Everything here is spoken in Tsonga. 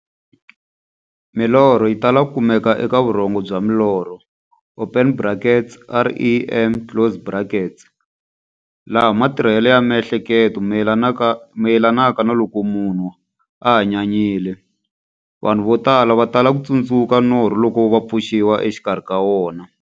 Milorho yi tala ku kumeka eka vurhongo bya milorho open brackets, REM, closed brackets, laha matirhele ya miehleketo mayelanaka na loko munhu a hanyanyile. Vanhu va tala ku tsundzuka norho loko va pfuxiwa exikarhi ka wona.